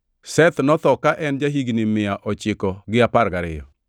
Seth notho ka en ja-higni mia ochiko gi apar gariyo.